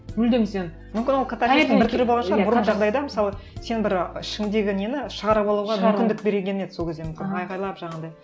мүлдем сен мысалы сен бір а ішіңдегі нені шығарып алуға мүмкіндік берілген еді сол кезде мүмкін айқайлап жаңағындай